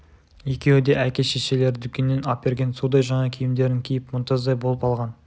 екеуі де әке-шешелері дүкеннен әперген судай жаңа киімдерін киіп мұнтаздай болып алған